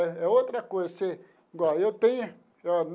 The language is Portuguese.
É é outra coisa você igual eu tenho.